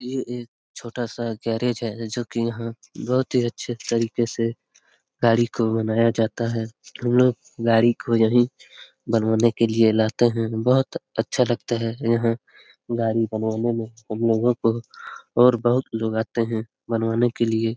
ये एक छोटा सा गैरेज है जो की यहाँ बहुत ही अच्छे तरीके से गाड़ी को बनाया जाता है हमलोग गाड़ी को यहीं बनवाने के लिए लाते हैं बहुत अच्छा लगता है यहाँ गाड़ी बनवाने में हमलोगो को और बहुत लोग आते हैं बनवाने के लिए ।